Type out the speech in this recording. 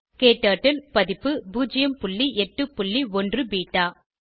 க்டர்ட்டில் பதிப்பு 081 பெட்டா